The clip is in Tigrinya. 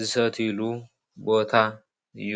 ዝሰትይሉ ቦታ እዩ።